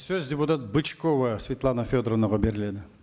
сөз депутат бычкова светлана федоровнаға беріледі